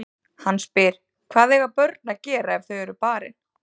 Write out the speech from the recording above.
Hann spyr: Hvað eiga börn að gera ef þau eru barin?